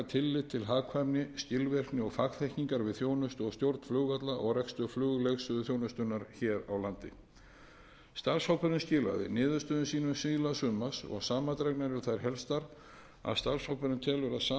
til hagkvæmni skilvirkni og fagþekkingar við þjónustu og stjórn flugvalla og rekstur flugleiðsöguþjónustunnar hér á landi starfshópurinn skilaði niðurstöðum sínum síðla sumars og samandregnar eru þær helstar að starfshópurinn telur að sameinað félag